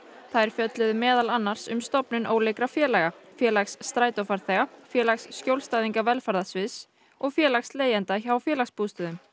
þær fjölluðu meðal annars um stofnun ólíkra félaga félags strætófarþega félags skjólstæðinga velferðarsviðs og félags leigjenda hjá félagsbústöðum